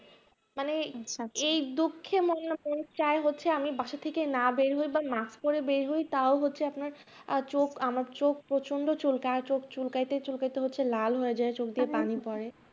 মানে এই দুঃখে অন্যতম চাই হচ্ছে আমি বাসা থেকে না বের হই বা masks পরে বের হয় তাও হচ্ছে আপনার চোখ আমার চোখ প্রচন্ড চুলকায় চোখ চুলকাইতে চুলকাইতে হচ্ছে লাল হয়ে যায় চোখ দিয়ে পানি পড়ে